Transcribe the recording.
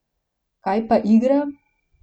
Kaj pa igra?